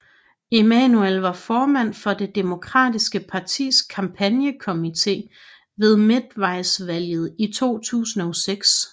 Emanuel var formand for det demokratiske partis kampagnekomite ved midtvejsvalget i 2006